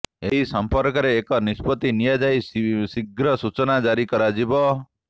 ଏହି ସମ୍ପର୍କରେ ଏକ ନିଷ୍ପତି ନିଆଯାଇ ଶୀଘ୍ର ସୂଚନା ଜାରୀ କରାଯିବ